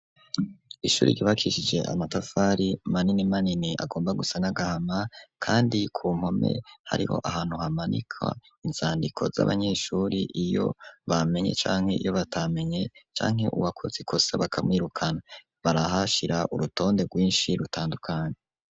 Ishuri ryubakishije amatafari manini manini agomba gusa n'agahama kandi ku mpome hariho ahantu hamanikwa inzandiko z'abanyeshuri iyo bamenye canke iyo batamenye canke uwakoze ikosa bakamwirukana barahashira urutonde rwinshi rutandukanye.